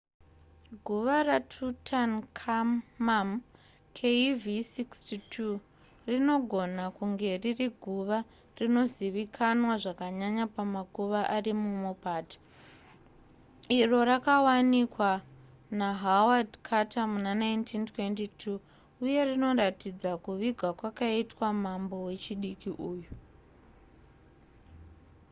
guva ratutankhamum kv62. kv62 rinogona kunge riri guva rinozivikanwa zvakanyanya pamakuva ari mumupata iro rakawanikwa nahaward carter muna1922 uye rinoratidza kuvigwa kwakaitwa mambo wechidiki uyu